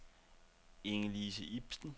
Inge-Lise Ibsen